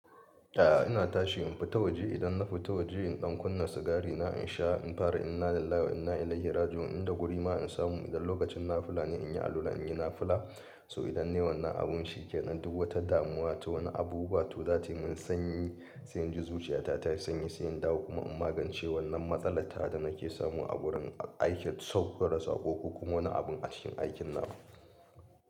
A'a ina tashi in fita waje idan na fita waje in ɗan kunna sigari na in sha in fara inalillahi wa inna ilaihi raji'un in da guri ma in samu idan lokacin nafula ne in yi alula in yi nafula so idan ne wannan abun shike nan duk wata damuwa ta wani abu ba to zataiyi mun sanyi sai inji zuciya ta tayi sanyi sai in dawo kuma in magance wannan matsalar ta da nake samu a wurin aikin saukar da saƙo ko kuma wani abun a cikin aikin na.